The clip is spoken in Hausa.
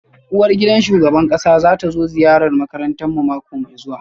Uwargidan shugaban kasa za ta zo ziyarar makarantarmu mako mai zuwa